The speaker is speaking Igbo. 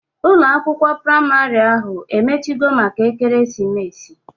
Ụlọ akwụkwọ praịmarị ahụ emechigo maka ekeresimesi?